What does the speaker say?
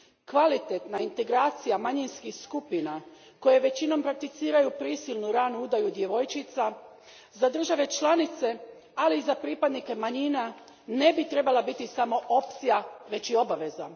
Kvalitetna integracija manjinskih skupina koje većinom prakticiraju prisilnu ranu udaju djevojčica, za države članice, ali i za pripadnike manjina, ne bi trebala biti samo opcija, već i obaveza.